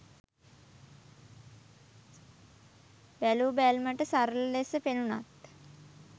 බැලූ බැල්මට සරල ලෙස පෙනුනත්